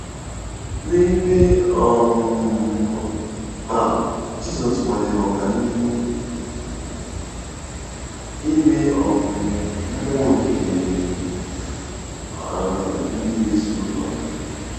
N'ebe um a, Jizọs nwalere ọganihu ime um mmụọ nke um ndị na-eso ụzọ ya.